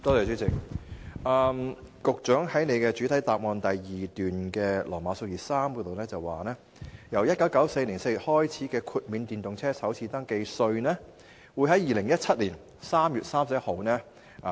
主席，局長在主體答覆第二部分第段提到，自1994年4月開始豁免電動車的首次登記稅，這項安排會維持至2017年3月31日。